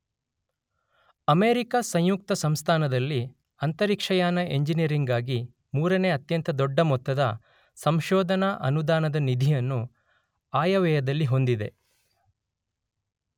America ಸಂಯುಕ್ತ ಸಂಸ್ಥಾನದಲ್ಲಿ ಅಂತರಿಕ್ಷಯಾನ ಇಂಜಿನಿಯರಿಂಗ್ ಗಾಗಿ ಮೂರನೇ ಅತ್ಯಂತ ದೊಡ್ಡ ಮೊತ್ತದ ಸಂಶೋಧನಾ ಅನುದಾನದ ನಿಧಿಯನ್ನು ಆಯವ್ಯಯದಲ್ಲಿ ಹೊಂದಿದೆ.